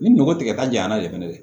Ni nogo tigɛta janyana de fɛnɛ dɛ